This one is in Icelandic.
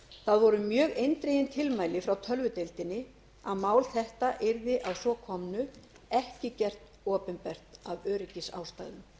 það voru mjög eindregin tilmæli frá tölvudeildinni að mál þetta yrði að svo komnu ekki gert opinbert af öryggisástæðum